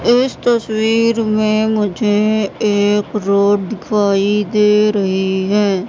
इस तस्वीर में मुझे एक रोड दिखाई दे रही है।